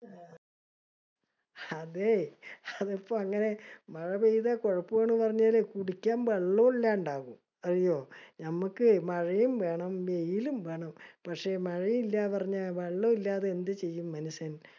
അതെ അതിപ്പോ അങ്ങിനെ മഴ പെയ്ത കൊഴപ്പാണ്ന്ന് പറഞ്ഞാല് കുടിക്കാൻ വെള്ളോം ഇല്യാണ്ടാവും. അറിയോ? ഞമ്മക്കെ മഴയും വേണം വെയിലും വേണം. പക്ഷെ മഴയില്ലന്ന് പറഞ്ഞ വെള്ളോഇല്യത്തെ എന്ത് ചെയ്യും മനുഷ്യൻ?